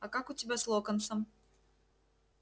а как у тебя с локонсом